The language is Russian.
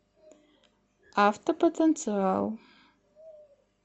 автопотенциал